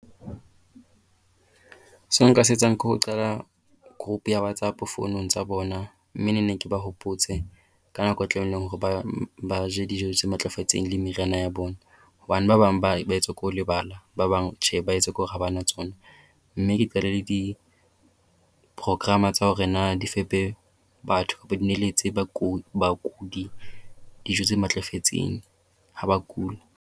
Seo nka se etsang ke ho qala group ya WhatsApp founong tsa bona, mme ne nne ke ba hopotse ka nako e tlamehileng hore ba je dijo tse matlafetseng le meriana ya bona. Hobane ba bang ba ba etswa ke ho lebala ba bang tjhe ba etswa ke hore ha ba na tsona. Mme ke qale le diprograma tsa hore na di fepe batho be neheletse bakudi dijo tse matlafetseng ha ba kula.